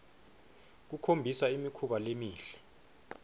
kukhombisa imikhuba lemihle